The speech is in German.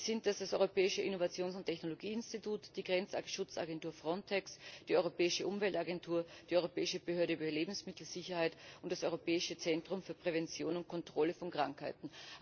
Es sind dies das Europäische Innovations und Technologieinstitut, die Grenzschutzagentur Frontex, die Europäische Umweltagentur, die Europäische Behörde für Lebensmittelsicherheit und das Europäische Zentrum für die Prävention und die Kontrolle von Krankheiten.